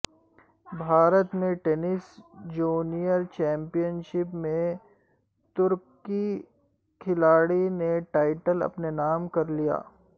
بھارت میں tennis junior championship میں ترک کھلاڑی نے ٹائٹل اپنے نام کر لیا